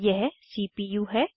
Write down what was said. यह सीपीयू है